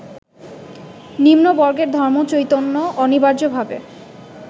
নিম্নবর্গের ধর্মচৈতন্য অনিবার্যভাবে